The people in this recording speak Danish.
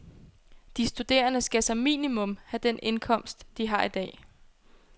De studerende skal som minimum have den indkomst, de har i dag.